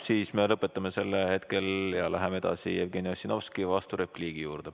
Siis me lõpetame hetkel selle ja läheme edasi Jevgeni Ossinovski vasturepliigi juurde.